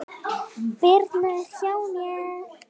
Birna er hjá mér.